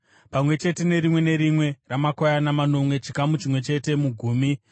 pamwe chete nerimwe nerimwe ramakwayana manomwe, chikamu chimwe chete mugumi .